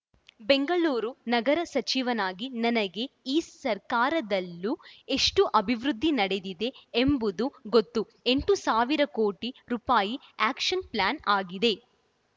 ಬೆಂಗಳೂರು ನಗರ ಸಚಿವನಾಗಿ ನನಗೆ ಈ ಸರ್ಕಾರದಲ್ಲೂ ಎಷ್ಟುಅಭಿವೃದ್ಧಿ ನಡೆದಿದೆ ಎಂಬುದು ಗೊತ್ತು ಎಂಟು ಸಾವಿರ ಕೋಟಿ ರುಪಾಯಿ ಆ್ಯಕ್ಷನ್‌ ಪ್ಲಾನ್‌ ಆಗಿದೆ